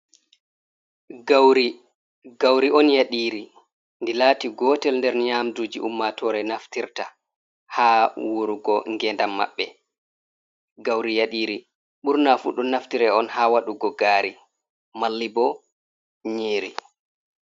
Gauri, gauri on yaɗiri ndi lati gotel nder nyamduji ummatore naftirta ha wurugo gendam maɓɓe. Gauri yaɗiri, burna fu ɗon naftire on ha waɗugo gari, malli bo nyiri.